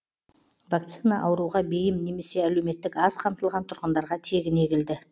вакцина ауруға бейім немесе әлеуметтік аз қамтылған тұрғындарға тегін егілді